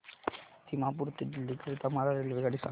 दिमापूर ते दिल्ली करीता मला रेल्वेगाडी सांगा